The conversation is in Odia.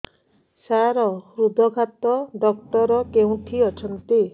ସାର ହୃଦଘାତ ଡକ୍ଟର କେଉଁଠି ଅଛନ୍ତି